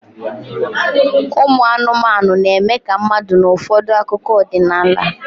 Ụmụ anụmanụ na-eme ka mmadụ n'ụfọdụ akụkọ ọdịnala